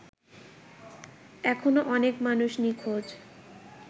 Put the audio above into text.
এখনো অনেক মানুষ নিঁখোজ